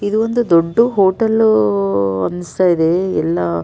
ಇದೊಂದು ದೊಡ್ಡ್ ಹೋಟೆಲ್ ಅನಿಸ್ತಾ ಇದೆ ಎಲ್ಲ --